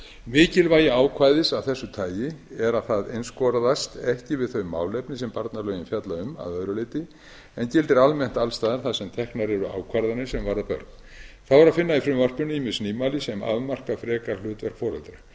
mikilvægi ákvæðis af þessu tagi er að það einskorðast ekki við þau málefni sem barnalögin fjalla um að öðru leyti en gildir almennt alls staðar þar sem teknar eru ákvarðanir sem varða börn þá er að finna í frumvarpinu ýmis nýmæli sem afmarka frekar hlutverk foreldra